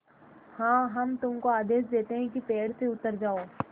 हाँ हम तुमको आदेश देते हैं कि पेड़ से उतर जाओ